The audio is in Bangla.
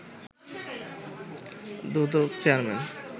দুদক চেয়ারম্যান